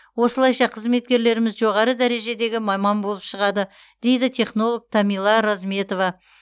осылайша қызметкерлеріміз жоғары дәрежедегі маман болып шығады дейді технолог тамила розметова